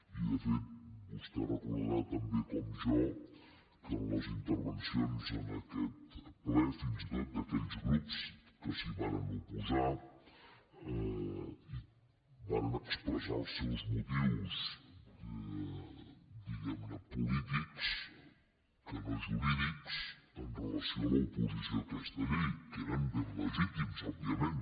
i de fet vostè deu recordar tan bé com jo que en les intervencions en aquest ple fins i tot d’aquells grups que s’hi varen oposar varen expressar els seus motius diguem ne polítics que no jurídics amb relació a l’oposició a aquesta llei que eren ben legítims òbviament